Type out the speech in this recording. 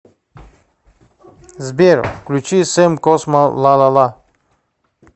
сбер включи сэм космо лалала